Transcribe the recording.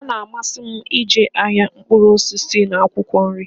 Ọ na-amasi m ije ahịa mkpuru osisi n'akwụkwọ nri.